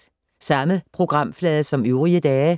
Samme programflade som øvrige dage